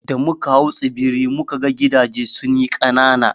Da muka hau tsibiri, mu ka ga gidaje sun yi ƙanana.